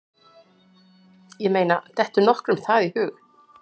Ég meina, dettur nokkrum það í hug?